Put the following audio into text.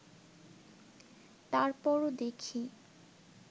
তার পরও দেখি